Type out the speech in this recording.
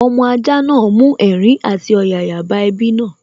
Ọmọ ajá náà mú ẹ̀rín àti ọ̀yàyà bá ẹbí náà